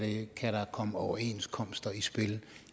komme overenskomster i spil